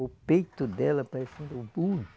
O peito dela parecendo